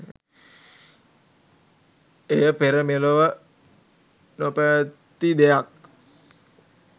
එය පෙර මෙලොව නො පැවති දෙයක්